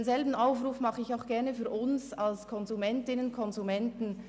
Denselben Aufruf richte ich auch an uns als Konsumentinnen und Konsumenten.